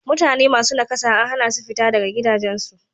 Mutane masu nakasa an hana su fita daga gidajensu.